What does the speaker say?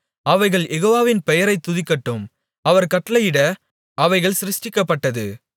அவைகள் யெகோவாவின் பெயரைத் துதிக்கட்டும் அவர் கட்டளையிட அவைகள் சிருஷ்டிக்கப்பட்டது